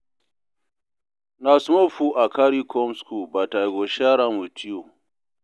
Na small food I carry come skool but I go share am wit you.